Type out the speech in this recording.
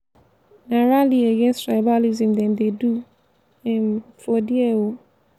na rally against tribalism dem dey do um for there o.